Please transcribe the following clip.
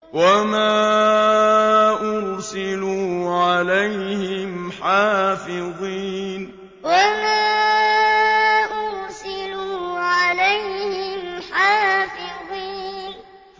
وَمَا أُرْسِلُوا عَلَيْهِمْ حَافِظِينَ وَمَا أُرْسِلُوا عَلَيْهِمْ حَافِظِينَ